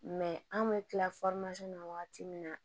anw bɛ tila na wagati min na